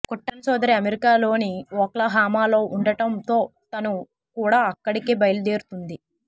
కుట్టన్ సోదరి అమెరికా లోని ఓక్లహామా లో ఉండటం తో తను కూడా అక్కడికే బయలుదేరుతుంది